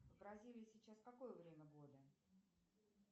в бразилии сейчас какое время года